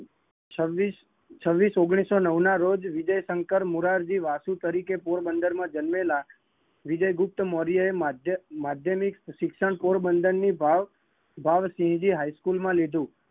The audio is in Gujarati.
છવીસ ઓગણીસો નવ ના રોજવિજયશંકર મુરાજી વાસુ તરીકે પોરબંદર માં જન્મેલા વિજયગુપ્તમૌર્ય એ માધ્યમિક શિક્ષણ પોરબંર માં ભાવ શ્રીજી હાઈ સ્કૂલ માં લીધૂ